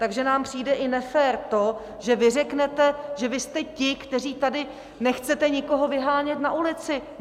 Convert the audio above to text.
Takže nám přijde i nefér to, že vy řeknete, že vy jste ti, kteří tady nechcete nikoho vyhánět na ulici.